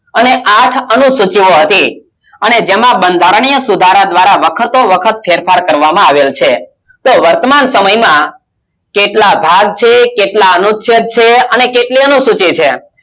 અને આઠ અનુસુચિત હોવાથી અને જેમાં બંધારણીય સુધારા દ્વારા વખતો વખત ફેરફાર કરવામાં આવેલ છે તો વર્તમાન સમયમાં કેટલા ભાગ છે કેટલા અનુચ્છેદ છે અને કેટલી અનુસૂચિ છે